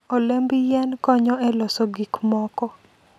Olemb yien konyo e loso gik moko.